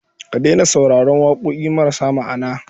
Ki daina sauraron waƙoƙi marasa ma'ana.